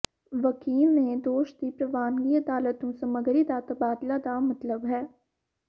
ਵਕੀਲ ਨੇ ਦੋਸ਼ ਦੀ ਪ੍ਰਵਾਨਗੀ ਅਦਾਲਤ ਨੂੰ ਸਮੱਗਰੀ ਦਾ ਤਬਾਦਲਾ ਦਾ ਮਤਲਬ ਹੈ